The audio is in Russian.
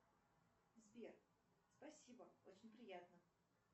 сбер спасибо очень приятно